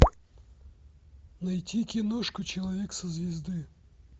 найти киношку человек со звезды